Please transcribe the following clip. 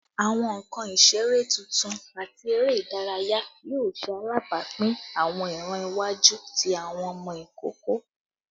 Awọn nkan isere tuntun ati ere idaraya yoo ṣe alabapin awọn iran iwaju ti awọn ọmọ ikoko